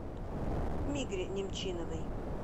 мигре немчиновой